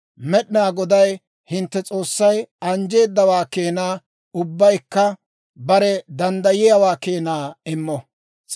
Med'inaa Goday hintte S'oossay anjjeedawaa keenaa ubbaykka bare danddayiyaawaa keenaa immo.